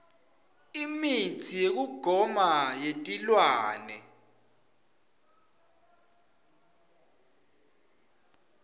imitsi yekugoma yetilwane